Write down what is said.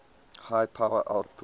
high power outputs